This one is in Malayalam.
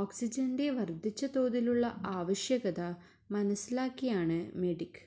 ഓക്സിജന്റെ വർധിച്ച തോതിലുള്ള ആവശ്യകത മനസിലാക്കിയാണ് മെഡിക്